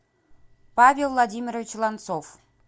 павел владимирович ланцов